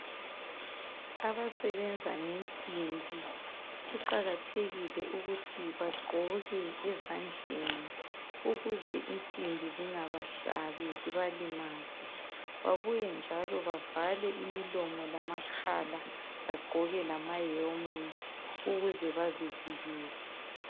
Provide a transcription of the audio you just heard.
Abasebenza ngensimbi kuqakathekile ukuthi bagqoke ezandleni ukuze insimbi zingaba hlabii babuye njalo bavale imilomo lamakhala babuye njalo bagqoke lama helmet ukuze bazivikele.